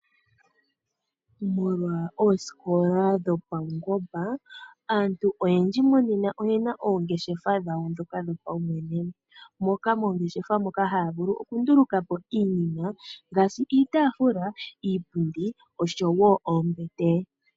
Molwa osikola dhopangomba aantu oyendji monena oyena ongeshefa dhawo dhoka dho pawumwene .Mongeshefa moka havulu okunduluka po iinima ngaashi iitafula iipundi osho woo oombete .